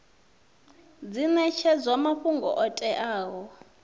dzi netshedzwa mafhungo o teaho